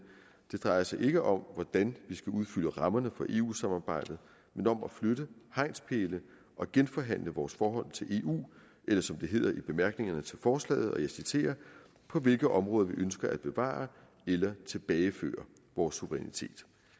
det drejer sig ikke om hvordan vi skal udfylde rammerne for eu samarbejdet men om at flytte hegnspæle og genforhandle vores forhold til eu eller som det hedder i bemærkningerne til forslaget og jeg citerer på hvilke områder ønsker vi at bevare eller tilbageføre vores suverænitet